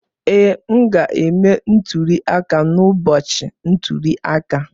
Ee, m ga-eme ntuli aka n'ụbọchị ntuli aka.